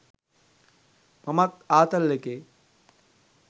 මමත් ආතල් එකේ